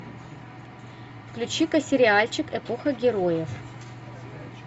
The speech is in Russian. включи ка сериальчик эпоха героев